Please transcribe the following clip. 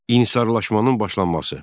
İnsarlaşmanın başlanması.